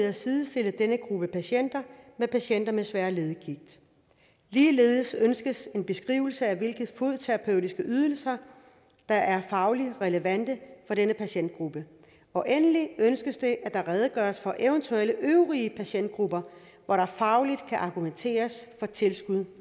at sidestille denne gruppe patienter med patienter med svær leddegigt ligeledes ønskes en beskrivelse af hvilke fodterapeutiske ydelser der er fagligt relevante for denne patientgruppe og endelig ønskes det at der redegøres for eventuelle øvrige patientgrupper hvor der fagligt kan argumenteres for tilskud